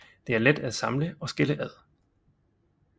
Det er let at samle og skille ad